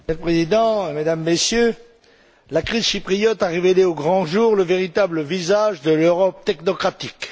Monsieur le Président, Mesdames, Messieurs, la crise chypriote a révélé au grand jour le véritable visage de l'Europe technocratique.